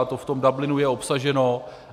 A to v tom Dublinu je obsaženo.